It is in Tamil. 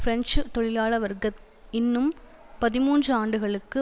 பிரெஞ்சு தொழிலாள வர்க்க இன்னும் பதிமூன்று ஆண்டுகளுக்கு